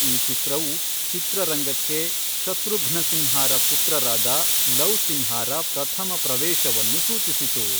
ಈ ಚಿತ್ರವು ಚಿತ್ರರಂಗಕ್ಕೆ ಶತ್ರುಘ್ನ ಸಿನ್ಹಾರ ಪುತ್ರರಾದ ಲವ್ ಸಿನ್ಹಾರ ಪ್ರಥಮ ಪ್ರವೇಶವನ್ನು ಸೂಚಿಸಿತು.